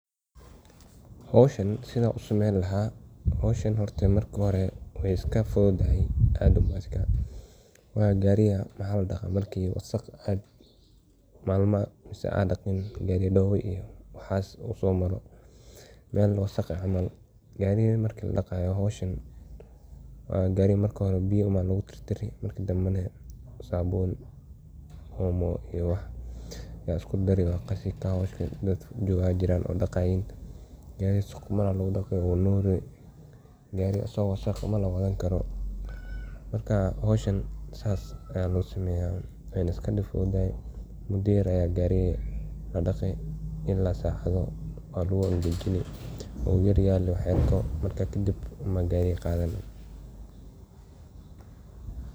howshan sidaa u samayn lahaa hawshan hortay marka hore way iska fududahay aadan waa gaariga maxa la dhaqa markii wasakh aad malma mase aad dhaqiin gariga dowo iyo wahas uu somaro, meel waasaq cml. gariga marki la dhaaqay howshan ,waa gariga marki hore biyo um baa lugu tirtiri marki dhambe neh sabuun omo iyo wax kale isku dari wa qassi car wash ka daad joga aya jiran oo daqaiin gari ga siquman aya lugula daqii uu nuri .gariii aso wasaq lama wadan karo . Marka howshan sas aya losameya wayna iska diib fududdahay ,muddo yar aya gariga la daqi ila sacado waa lagu angajini uu yar yaha lee wax yarko marka kadib uum baa gariga qathani.